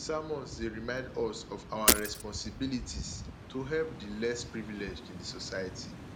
sermons dey remind us of our responsibilities to help the less privileged in society